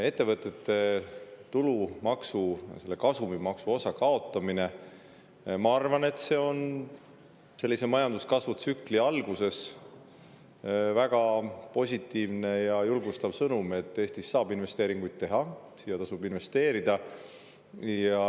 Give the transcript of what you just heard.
Ettevõtete tulumaksu, selle kasumimaksu osa kaotamine, ma arvan, on majanduskasvutsükli alguses väga positiivne ja julgustav sõnum selle kohta, et Eestisse saab investeeringuid teha ja siia tasub investeerida.